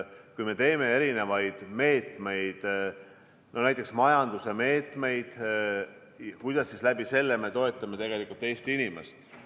Kui me teeme erinevaid meetmeid, näiteks majanduse meetmeid, siis kuidas me läbi selle toetame Eesti inimest.